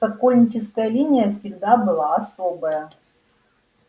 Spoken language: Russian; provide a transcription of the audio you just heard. сокольническая линия всегда была особая